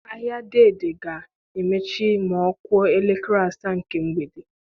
Ahịa Dei Dei ga-emechi ma ọ kụọ elekere asaa nke mgbede.